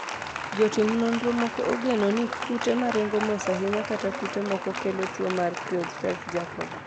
jotim nonro moko ogeno ni kute maringo mos ahinya kata kute moko kelo tuo mar Creutzfeldt Jakob